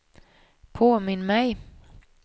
påminn mig